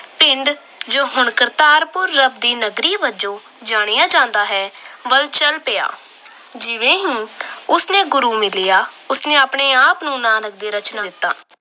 ਪਿੰਡ ਜੋ ਹੁਣ ਕਰਤਾਰਪੁਰ ਰੱਬ ਦੀ ਨਗਰੀ ਵਜੋਂ ਜਾਣਿਆ ਜਾਂਦਾ ਹੈ, ਵੱਲ ਚਲ ਪਿਆ। ਜਿਵੇਂ ਹੀ ਉਸ ਨੂੰ ਗੁਰੂ ਮਿਲਿਆ। ਉਸ ਨੇ ਆਪਣੇ ਆਪ ਨੂੰ ਨਾਨਕ ਦੇ ਦਿੱਤਾ।